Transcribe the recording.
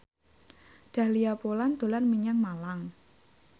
Dahlia Poland dolan menyang Malang